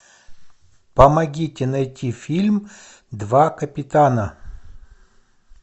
помогите найти фильм два капитана